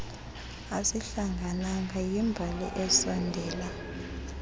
asihlangananga yimbali esondela